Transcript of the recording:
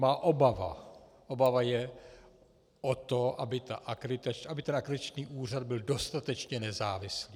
Má obava, obava je o to, aby ten akreditační úřad byl dostatečně nezávislý.